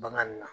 Bagan na